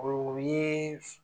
o ye